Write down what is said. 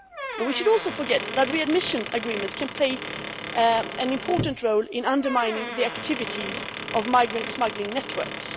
We should also not forget that these readmission agreements can play an important role in undermining the activities of migrant smuggling networks.